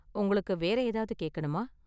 உங்களுக்கு வேற ஏதாவது கேக்கணுமா?